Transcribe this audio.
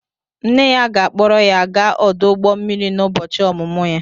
Nne ya ga-akpọrọ ya gaa ọdụ ụgbọ mmiri n'ụbọchị ọmụmụ ya